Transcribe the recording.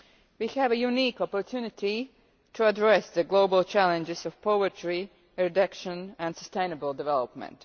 We have a unique opportunity to address the global challenges of poverty, education and sustainable development.